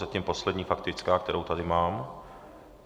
Zatím poslední faktická, kterou tady mám.